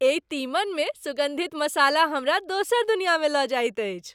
एहि तीमन मे सुगन्धित मसाला हमरा दोसर दुनियामे लऽ जाइत अछि।